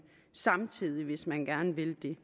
samtidig hvis man gerne vil det